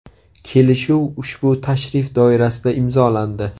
Kelishuv ushbu tashrif doirasida imzolandi.